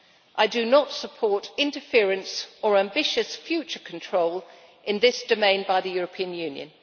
I do not support interference or ambitious future control in this domain by the European Union.